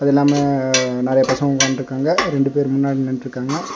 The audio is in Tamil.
எல்லாமே நெறைய பசங்க உக்கான்ட்ருக்காங்க ரெண்டு பேர் முன்னாடி நின்னுட்ருக்காங்க.